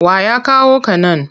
Wa ya kawo ka nan?